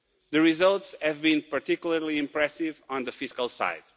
The results have been particularly impressive on the fiscal side.